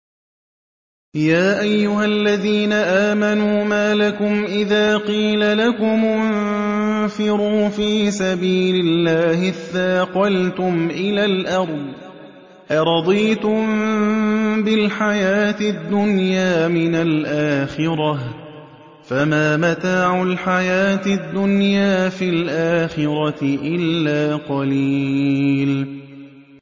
يَا أَيُّهَا الَّذِينَ آمَنُوا مَا لَكُمْ إِذَا قِيلَ لَكُمُ انفِرُوا فِي سَبِيلِ اللَّهِ اثَّاقَلْتُمْ إِلَى الْأَرْضِ ۚ أَرَضِيتُم بِالْحَيَاةِ الدُّنْيَا مِنَ الْآخِرَةِ ۚ فَمَا مَتَاعُ الْحَيَاةِ الدُّنْيَا فِي الْآخِرَةِ إِلَّا قَلِيلٌ